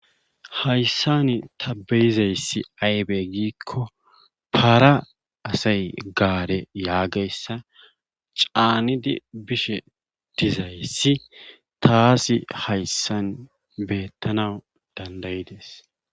Hayssan ta be'izayssi aybe giikko para asay gaare yaagiyassan caanidi bishe dizayssi taasi hayssan beetanawu danda'idees.